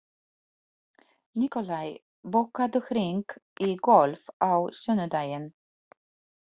Nikolai, bókaðu hring í golf á sunnudaginn.